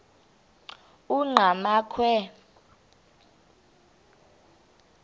enqgamakhwe